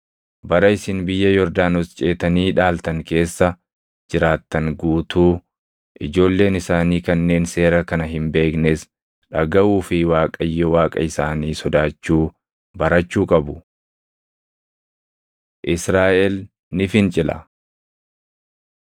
Bara isin biyya Yordaanos ceetanii dhaaltan keessa jiraattan guutuu ijoolleen isaanii kanneen seera kana hin beeknes dhagaʼuu fi Waaqayyo Waaqa isaanii sodaachuu barachuu qabu.” Israaʼel Ni Fincila